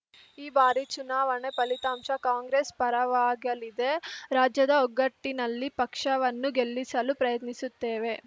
ಈ ಬಾರಿ ಚುನಾವಣಾ ಫಲಿತಾಂಶ ಕಾಂಗ್ರೆಸ್‌ ಪರವಾಗಲಿದೆ ರಾಜ್ಯದ ಒಗ್ಗಟ್ಟಿನಲ್ಲಿ ಪಕ್ಷವನ್ನು ಗೆಲ್ಲಿಸಲು ಪ್ರಯತ್ನಿಸುತ್ತೇವೆ